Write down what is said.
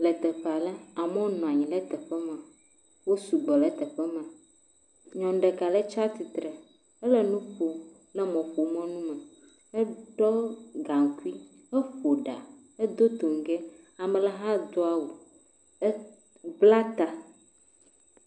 Le teƒea le, amewo nɔ anyi le teƒema, wo sugbɔ le teƒema. Nyɔnu ɖeka alẽ tsa tsitre, ele nu ƒom le mɔƒomɔnu me, eɖɔ gakui, eƒo ɖa edo toŋgɛ. Ame le ha do awu, ebla tã.